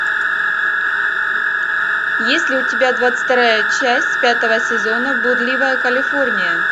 есть ли у тебя двадцать вторая часть пятого сезона блудливая калифорния